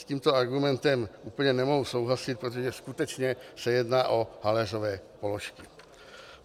S tímto argumentem úplně nemohu souhlasit, protože skutečně se jedná o haléřové položky.